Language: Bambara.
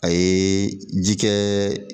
A ye ji kɛ